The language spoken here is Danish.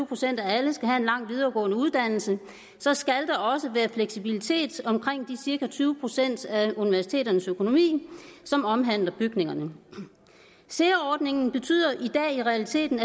procent af alle skal have en lang videregående uddannelse så skal der også være fleksibilitet omkring de cirka tyve procent af universiteternes økonomi som omhandler bygningerne sea ordningen betyder i realiteten